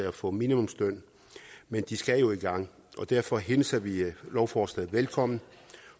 at få minimumslønnen men de skal jo i gang derfor hilser vi lovforslaget velkommen